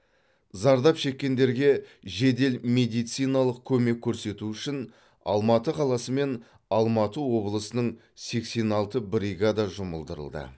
зардап шеккендерге жедел медициналық көмек көрсету үшін алматы қаласы мен алматы облысының сексен алты бригада жұмылдырылды